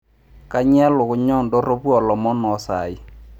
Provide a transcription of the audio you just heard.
kanyoo elukunya oo indorropu oo ilomon ooo isaaai